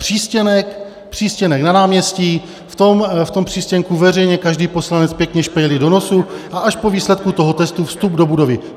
Přístěnek na náměstí, v tom přístěnku veřejně každý poslanec pěkně špejli do nosu a až po výsledku toho testu vstup do budovy.